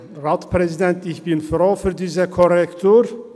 Ich bin froh um diese Korrektur.